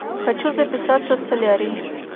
хочу записаться в солярий